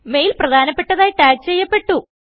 mail പ്രധാനപെട്ടതായി tag ചെയ്യപ്പെട്ടു